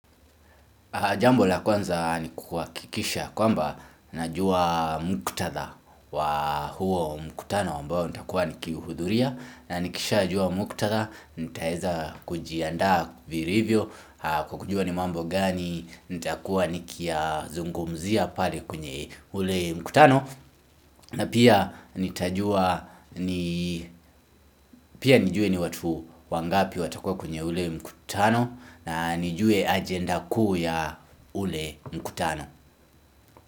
Jambo la kwanza ni kuhakikisha ya kwamba najua muktadha wa huo mkutano ambao nitakuwa nikihudhuria na nikishajua muktadha nitaeza kujiandaa vilivyo kwa kujua ni mambo gani nitakuwa nikiyazungumzia pale kwenye ule mkutano na pia pia nijue ni watu wangapi watakuwa kwenye ule mkutano na nijue ajenda kuu ya ule mkutano.